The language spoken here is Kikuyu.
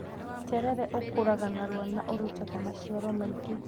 Terere ukũra narua na ũrutaga maciaro maingĩ.